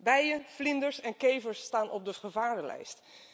Bijen, vlinders en kevers staan op de gevarenlijst.